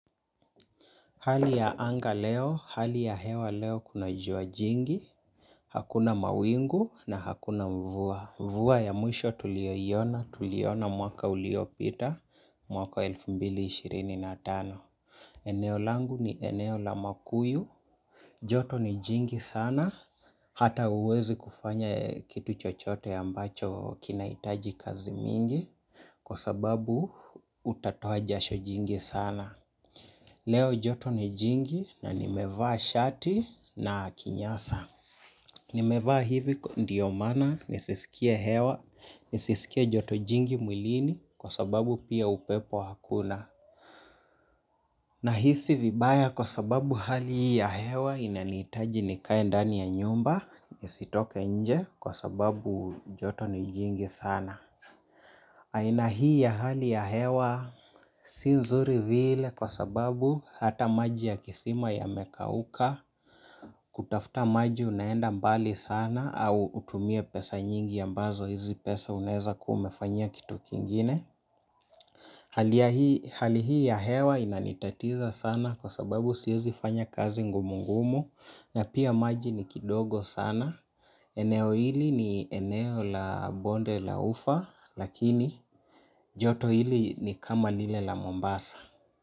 Hali ya anga leo, hali ya hewa leo kuna jua jingi, hakuna mawingu na hakuna mvua. Mvua ya mwisho tuliyoiona, tuliona mwaka uliopita mwaka wa elfu mbili ishirini na tano. Eneo langu ni eneo la makuyu, joto ni jingi sana, hata huwezi kufanya kitu chochote ambacho kinahitaji kazi mingi, kwa sababu utatoa jasho jingi sana. Leo joto ni jingi na nimevaa shati na kinyasa. Nimevaa hivi ndio maana nisisikie hewa, nisisikie joto jingi mwilini kwa sababu pia upepo hakuna. Nahisi vibaya kwa sababu hali ya hewa inanihitaji nikae ndani ya nyumba, nisitoke nje kwa sababu joto ni jingi sana. Aina hii ya hali ya hewa si nzuri vile kwa sababu hata maji ya kisima yamekauka kutafuta maji unaenda mbali sana au utumie pesa nyingi ambazo hizi pesa unaeza kuwa umefanyia kitu kingine. Hali hii ya hewa inanitatiza sana kwa sababu siezi fanya kazi ngumu ngumu na pia maji ni kidogo sana eneo hili ni eneo la bonde la ufa lakini joto hili ni kama lile la Mombasa.